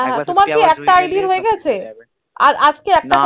তোমার কি একটা id রয়ে গেছে আর আজ কে একটা